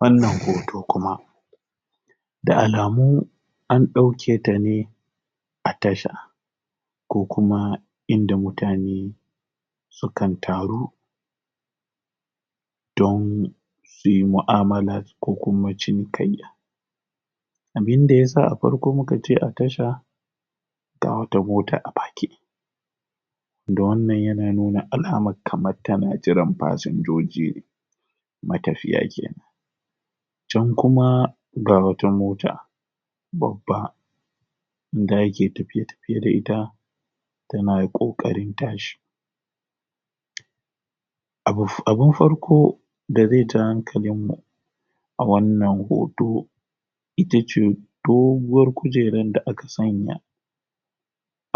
wannan hoto kuma da alamu an ɗauketa ne a tasha ko kuma inda mutane sukan taru don suyi mu'amala ko kuma cinkayya abinda yasa a farko muka ce a tasha ga wata mota a fake da wannan yana nuna alamar kar tana jiran fasinjoji ne matafiya kenan can kuma ga wata mota babba da ake tafiye-tafiye da ita tana ƙoƙarin tashi abun farko da zaija hankalinmu a wannan hoto itace doguwar kujeran da aka sanya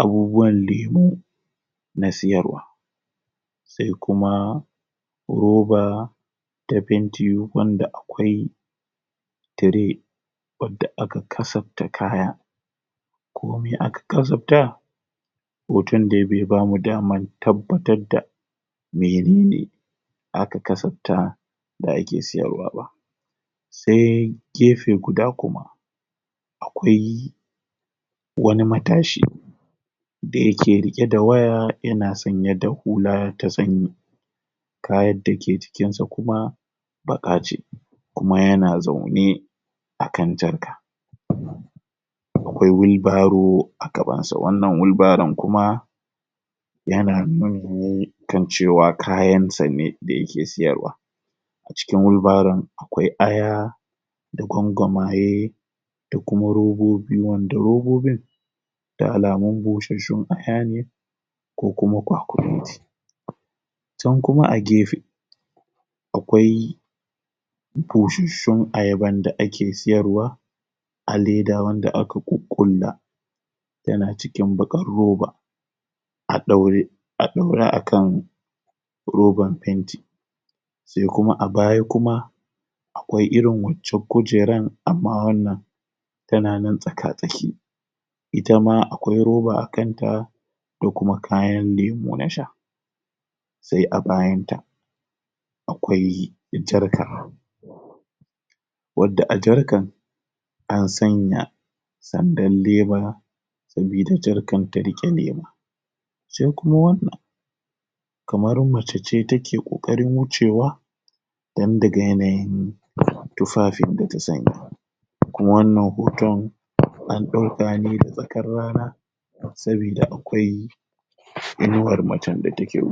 abubuwanda ya na siyarwa se kuma roba ta fenti wanda akwai tire wanda aka kasafta kaya komi aka kasafta? hotondai bai bamu damar tabbatarda menene aka kasafta da ake siyarwaba sai gefe guda kuma akwai wani matashi da yake riƙe da waya irinyana sanye da hula ta sanyi kayad dake jikinsa kuma baƙa kuma yana zaune akan jarka akwai wheel barrow a gabansa wannan wheel barrown kuma yana nuni kan cewa kayansa ne da yake sayarwa cikin wheel barrown akwai aya da gwangwamaye dakuma robobi wanda robobin da alamun bushasshun aya ne ko kuma kwakumeti can kuma a gefe akwai bushasshun ayaban da ake siyarwa a leda wanda aka ƙuƙƙulla yana cikin baƙar roba a ɗaure a ɗaure akan roban fenti sai kuma a baya kuma akwai irin waccan kujeran amma wannan tana nan tsaka-tsaki itama akwai roba akanta da kuma kayan lemo na sha sai a bayanta akwai jarka wadda a jarkan an sanya sandar leda sabida jarkan ta riƙe lemon sai kuma wani kamar macece take ƙoƙarin wucewa don daga yanayin tufafin data sanya a kuma wannan hoton an ɗauka ne da tsakar rana sabida akwai inuwar macen da take wu